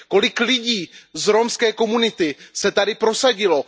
Kolik lidí z romské komunity se tady prosadilo?